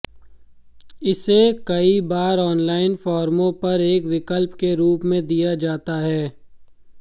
इसे कई बार ऑनलाइन फ़ॉर्मों पर एक विकल्प के रूप में दिया जाता है